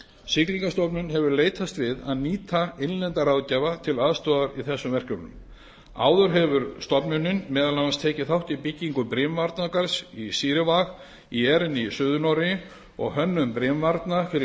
siglingastofnun hefur leitast við að nýta innlenda ráðgjafa til aðstoðar í þessum verkefnum áður hefur stofnunin meðal annars tekið þátt í byggingu brimvarnargarðs í sirevåg í jæren í suður noregi og hönnun brimvarna fyrir